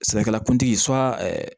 Sɛnɛkɛla kuntigi